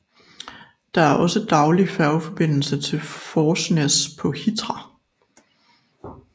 Der er også daglig færgeforbindelse til Forsnes på Hitra